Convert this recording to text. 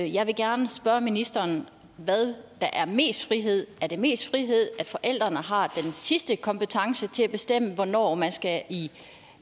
jeg vil gerne spørge ministeren hvad der er mest frihed er det mest frihed at forældrene har den sidste kompetence til at bestemme hvornår man skal i